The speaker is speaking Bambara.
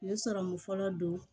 U ye sɔrɔmu fɔlɔ don